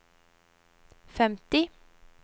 femti